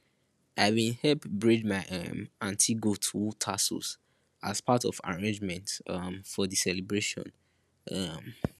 i been help braid my um aunty goat wool tassels as part of arrangements um for di celebration um